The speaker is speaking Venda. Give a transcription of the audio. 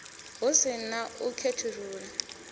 hu si na u khethulula